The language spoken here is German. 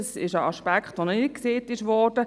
Das ist ein Aspekt, der noch nicht erwähnt wurde.